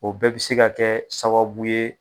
O bɛɛ bi se ka kɛ sababu ye